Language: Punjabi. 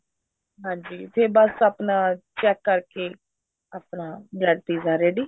ਹਾਂਜੀ ਫ਼ੇਰ ਬੱਸ ਆਪਣਾ check ਕਰਕੇ ਆਪਣਾ bread pizza ready